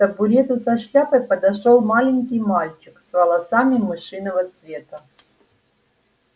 к табурету со шляпой подошёл маленький мальчик с волосами мышиного цвета